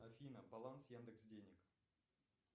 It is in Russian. афина баланс яндекс денег